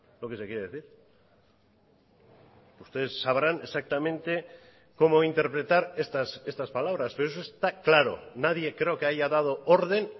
lo que se quiere decir ustedes sabrán exactamente cómo interpretar estas palabras pero eso está claro nadie creo que haya dado orden